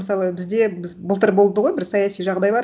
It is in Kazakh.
мысалы бізде біз былтыр болды ғой бір саяси жағдайлар